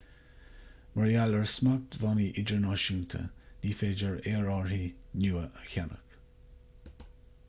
mar gheall ar smachtbhannaí idirnáisiúnta ní féidir aerárthaí nua a cheannach